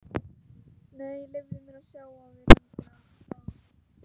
Nei, leyfðu mér að sjá á þér hendina bað hún.